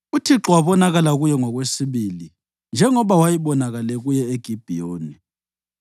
UThixo wabonakala kuye ngokwesibili, njengoba wayebonakele kuye eGibhiyoni.